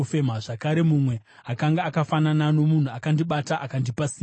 Zvakare, mumwe akanga akafanana nomunhu akandibata akandipa simba.